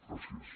gràcies